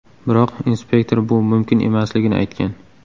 Biroq inspektor bu mumkin emasligini aytgan.